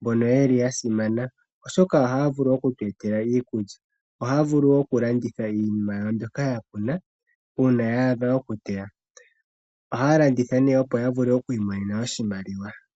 mbono wo yasimana oshoka ohaya vulu okutu etela iikulya. Ohaya vulu woo okulanditha iinima mbyoka yakuna uuna ya adha okuteywa. Ohaya landitha ya vule okwiimonena oshimaliwa.